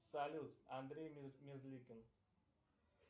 салют андрей мерзликин